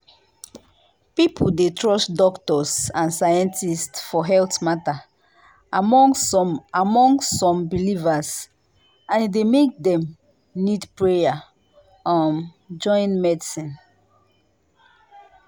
people dey trust doctors and scientists for health matter among some among some believers and e dey make dem need prayer um join medicine.